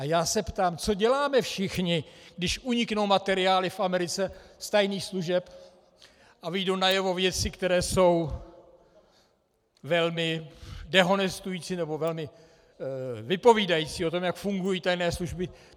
A já se ptám, co děláme všichni, když uniknou materiály v Americe z tajných služeb a vyjdou najevo věci, které jsou velmi dehonestující nebo velmi vypovídající o tom, jak fungují tajné služby.